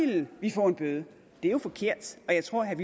ville vi få en bøde det er jo forkert og jeg tror herre